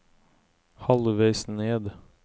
halvveis ned